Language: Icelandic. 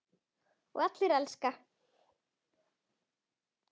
Og allir elska.